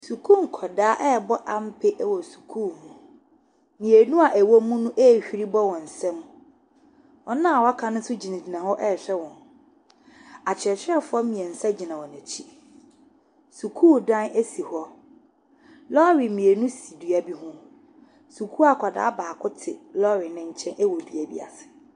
Sukuu nkwadaa rebɔ ampe wɔ sukuu mu. Mmienu a wɔwɔ munorehuri bɔ wɔn nsam. Wɔn a wɔaka no nso gyinagyina hɔ rehwɛ wɔn. Akyerɛkyerɛfoɔ mmeɛnsa gyina wɔn akyi. Sukuu dan si hɔ. Lɔɔre mmienu si dua bi ho. Sukuu akwadaa baako te lɔɔre no nkyɛn wɔ dua bi ase.